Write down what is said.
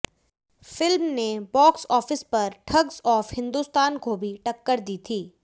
film ने box office पर Thugs of Hindostan को भी टक्कर दी थी